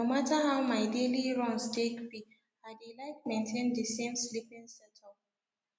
no matter how my daily runs take be i dey like maintain the same sleeping setup